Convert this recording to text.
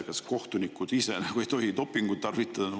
Kas kohtunikud ise ei tohi dopingut tarvitada?